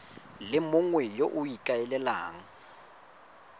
le mongwe yo o ikaelelang